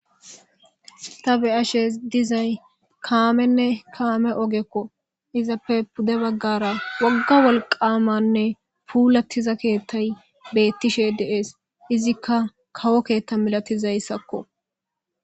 Ta beshe dizay kaamenne kaame ogeko izappr pude bagara wohga wolqamanne puulatiza keethay beetishe de'es izika kawo keetha milatizasako